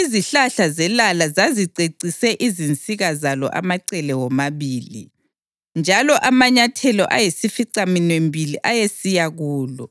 izihlahla zelala zazicecise izinsika zalo amacele womabili, njalo amanyathelo ayisificaminwembili ayesiya kulo.